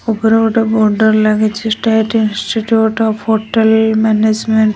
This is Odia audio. ଉପରେ ଗୋଟେ ବୋର୍ଡର୍ ଲାଗିଛି। State institute of hotel management --